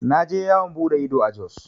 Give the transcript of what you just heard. Na je yawan buɗe ido a Jos.